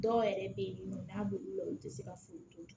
Dɔw yɛrɛ bɛ yen nɔ n'a bɛ wula u tɛ se ka furu